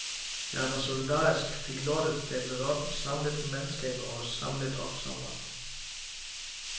Jeg var solidarisk, fik lortet stablet op, samlet mandskab og samlet opsamlere.